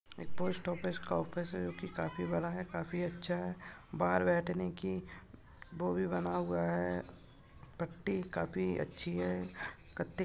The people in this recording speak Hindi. एक पोस्ट ऑफिस का ऑफिस हैं जो की काफी बड़ा हैं काफी अच्छा हैं बाहर बैठने की वो भी बना हुआ है पट्टी काफी अच्छी हैं। कत्ती --